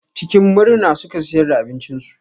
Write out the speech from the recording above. Cikin murna suka siyar da abincinsu.